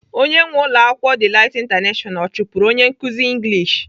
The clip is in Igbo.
Onye nwee ụlọakwụkwọ Delight International ọ chụpụrụ onye nkụzi English?